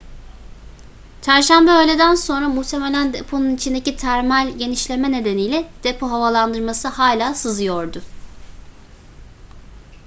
çarşamba öğleden sonra muhtemelen deponun içindeki termal genişleme nedeniyle depo havalandırması hala sızdırıyordu